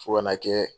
Fo ka n'a kɛ